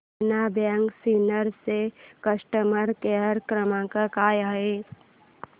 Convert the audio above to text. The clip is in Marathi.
देना बँक सिन्नर चा कस्टमर केअर क्रमांक काय आहे